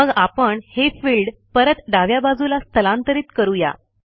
मग आपण हे फिल्ड परत डाव्या बाजूला स्थलांतरित करू या